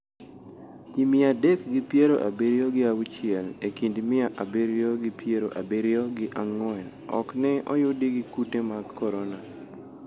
Ji mia adek gi piero abiriyo gi auchiel e kind mia abiriyo gi piero abiriyo gi ang'uen okne oyudi gi kute mag korona.